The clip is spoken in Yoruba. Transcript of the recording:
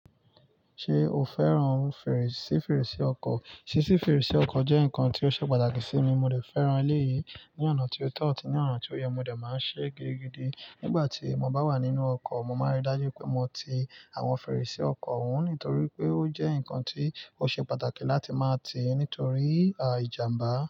Ṣé o fẹ́ran fèrèsé fèrèsé ọkọ̀? Sísi fèrèsé ọkọ̀ jẹ́ nǹkan tó ṣe pàtàkì sí mi. Mo dé fẹ́ran eléyìí ní ọ̀nà tió tọ̀ ati ni ọ̀nà tí ó yẹ, mo dé máa ń ṣe gidigidi nígbà tí mo bá wà nínú ọkọ̀. Mo máa ń rí dájú pé mo ti àwọn fèrèsé ọkọ̀ ohun nítorí pé ó jẹ́ ǹkan tí ó ṣe pàtàkì láti máa tìí nítorí ìjàmbá.